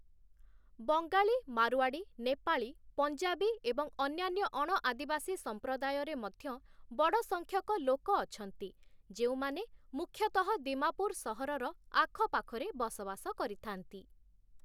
ବଙ୍ଗାଳୀ, ମାରୱାଡ଼ି, ନେପାଳୀ, ପଞ୍ଜାବୀ ଏବଂ ଅନ୍ୟାନ୍ୟ ଅଣଆଦିବାସୀ ସମ୍ପ୍ରଦାୟରେ ମଧ୍ୟ ବଡ଼ ସଂଖ୍ୟକ ଲୋକ ଅଛନ୍ତି, ଯେଉଁମାନେ ମୁଖ୍ୟତଃ ଦିମାପୁର ସହରର ଆଖପାଖରେ ବସବାସ କରିଥାନ୍ତି ।